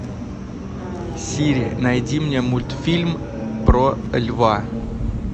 сири найди мне мультфильм про льва